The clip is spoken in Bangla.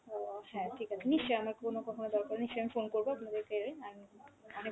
আহ হ্যাঁ ঠিক আছে, নিশ্চয় আমার কোনো কখনও দরকার হলে নিশ্চয় আমি phone করব আপনাদেরকেই and অনেক অনেক